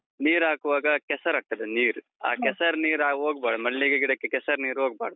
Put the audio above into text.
ನೀರ್ ಹಾಕುವಾಗ, ಕೆಸರಾಗ್ತದೆ ನೀರು. ಆ ಕೆಸರ್ನೀರಾಗ್ ಹೋಗ್ಬಾರ್ದು ಮಲ್ಲಿಗೆ ಗಿಡಕ್ಕೆ ಕೆಸರ್ ನೀರು ಹೋಗ್ಬಾರ್ದು.